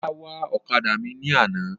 Ọlá wa ọ̀kadà mi ní àná.